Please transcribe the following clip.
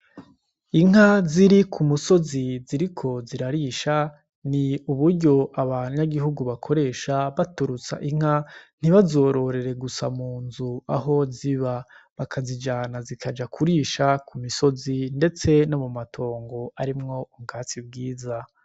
Inka ziri ku musozi ziri ko zirarisha ni uburyo aba nyagihugu bakoresha baturutsa inka ntibazororere gusa mu nzu aho ziba bakazijana zikaja kurisha ku misozi, ndetse no mu matongo arimwo umwatsi ubwiza.